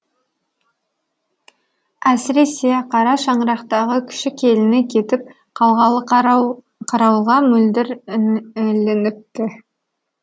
әсіресе қара шаңырақтағы кіші келіні кетіп қалғалы қарауылға мөлдір ілініпті